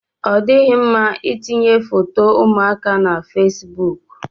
Ọ dịghị mma itinye foto ụmụaka na fesbụụk.